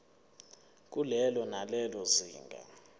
kulelo nalelo zinga